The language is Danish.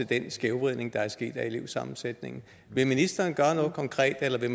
den skævvridning der er sket i elevsammensætningen vil ministeren gøre noget konkret eller vil